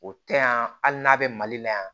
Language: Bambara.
O tɛ yan hali n'a bɛ mali la yan